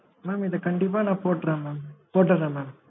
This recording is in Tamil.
mam இத கண்டிப்பா நான் போட்டுறேன் mam போட்டுறேன் mam